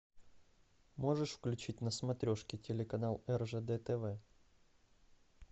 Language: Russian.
можешь включить на смотрешке телеканал ржд тв